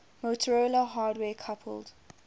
motorola hardware coupled